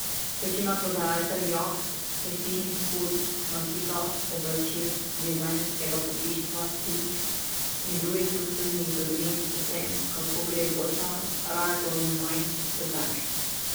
Večina prodajalcev jaht, prestižnih ur, nakita, oblačil, dizajnerskega pohištva, slik in drugih luksuznih dobrin o tem, kako gre posel, raje pove manj kot več.